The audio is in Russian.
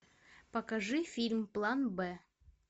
покажи фильм план б